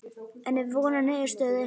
En er von á niðurstöðu?